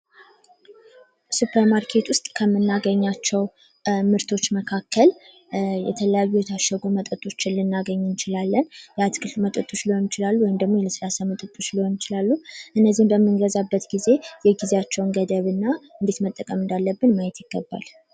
ሱፐር ማርኬት ውስጥ ከምናገኛቸው ምርቶች መካከል የተለያዩ የታሸጉ መጠጦች ልናገኝ እንችላለን። የአትክልት መጠጦች ሊሆኑ ይችላሉ ወይም የለስላሳ መጠቶች ሊሆኑ ይችላልሉ። በምንገዛበት ጊዜ የጊዜያቸውን ገደብ እናእንዴት መጠቀም እንዳለብን ማየት ይገባል!